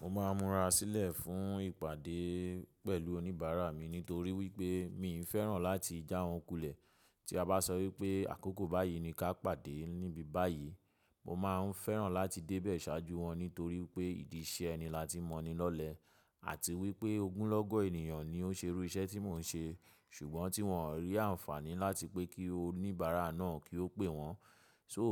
Mo máa ń mura sílẹ̀ fún ìpàdé pẹ̀lú oníbàárà mi nítorí wipé miii fẹ́ràn láti jà wọ́n kùlẹ̀. Tí a bá sọ wí pé àkókò báyìí ni ka pàdé níbi báyìí, mo máa fẹ́ràn láti débẹ̀ ṣáájú wọn nítorí pé ìdí iṣẹ́ ẹni láti mọni lọlẹ̀ àti wí pé ogún lọ́gọ̀ ènìyàn ni ó ṣẹrú iṣẹ́ tí mò ń ṣe, ṣùgbọ́n tí wọ́n ò rí àǹfààní láti pé kí oníbàárà náà kí ó pè wọ́n. So